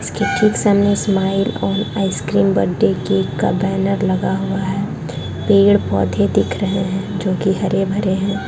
इसके ठीक सामने smile on ice cream birthday cake का बैनर लगा हुआ है पेड़-पौधे दिख रहे है जो की हरे-भरे है।